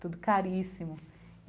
Tudo caríssimo e.